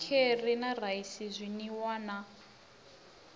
kheri na raisi zwinwiwa na